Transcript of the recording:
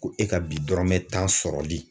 Ko e ka bi dɔrɔmɛ tan sɔrɔli.